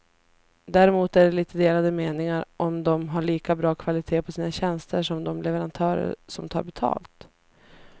Däremot är det lite delade meningar om de har lika bra kvalitet på sina tjänster som de leverantörer som tar betalt.